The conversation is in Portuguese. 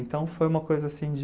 Então, foi uma coisa assim de...